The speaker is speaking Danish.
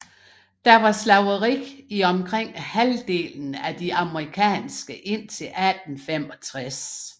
Der var slaveri i omkring halvdelen af de amerikanske indtil 1865